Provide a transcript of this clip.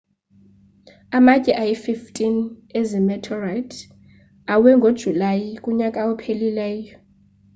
amatye ayi-15 ezi meteorite awe ngojulayi kunyaka ophelileyo